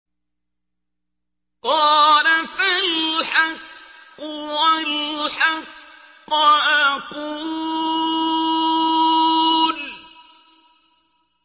قَالَ فَالْحَقُّ وَالْحَقَّ أَقُولُ